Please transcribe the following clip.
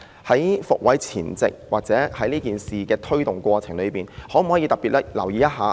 在"復位"前，或者在這事的推動過程中，當局可否特別留意一下？